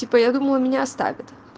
типа я думала меня оставят